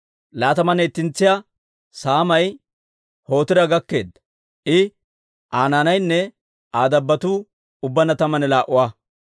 Laatamanne ittentsiyaa saamay Hotiira gakkeedda; I, Aa naanaynne Aa dabbotuu ubbaanna tammanne laa"a.